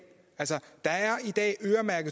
er der